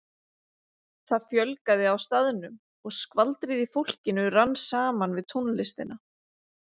Það fjölgaði á staðnum og skvaldrið í fólkinu rann saman við tónlistina.